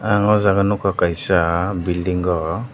ang o jaga nogka kaisa bilding o.